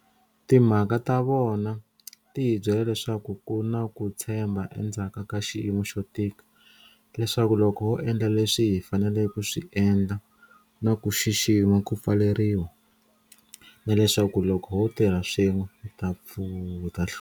Timhaka ta vona ti hi byela leswaku ku na ku tshembha endzhaku ka xiyimo xo tika, leswaku loko ho endla leswi hi faneleke ku swi endla na ku xixima ku pfaleriwa, na leswaku loko ho tirha swin'we, hi ta hlula.